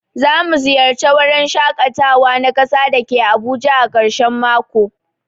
Zamu ziyarce wurin shakatawa na kasa dake Abuja ã karshen mako.